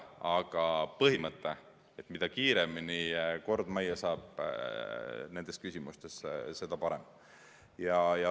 Aga põhimõte on, et mida kiiremini kord majja saab nendes küsimustes, seda parem.